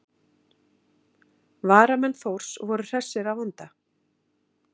Varamenn Þórs voru hressir að vanda.